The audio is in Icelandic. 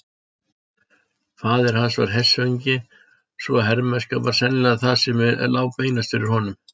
Faðir hans var hershöfðingi svo hermennska var sennilega það sem lá beinast fyrir honum.